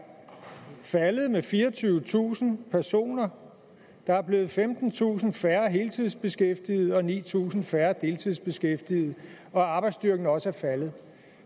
faldet med fireogtyvetusind personer der er blevet femtentusind færre heltidsbeskæftigede og ni tusind færre deltidsbeskæftigede og arbejdsstyrken er også faldet